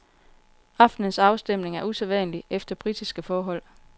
Aftenens afstemning er usædvanlig efter britiske forhold.